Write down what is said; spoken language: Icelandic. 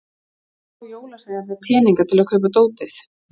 Hvar fá jólasveinarnir peninga til að kaupa dótið?